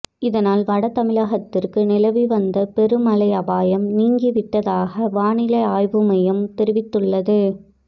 இதனால் வட தமிழகத்திற்கு நிலவி வந்த பெரு மழை அபாயம் நீங்கி விட்டதாக வானிலை ஆய்வு மையம் தெரிவித்துள்ளது